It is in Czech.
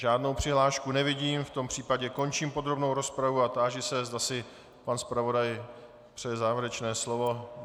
Žádnou přihlášku nevidím, v tom případě končím podrobnou rozpravu a táži se, zda si pan zpravodaj přeje závěrečné slovo.